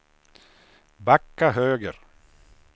backa höger